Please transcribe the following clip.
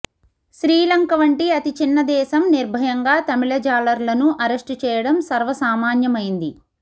శ్రీలంక వంటి అతి చిన్న దేశం నిర్భయంగా తమిళ జాలర్లను అరెస్టుచేయటం సర్వసామాన్యమైంది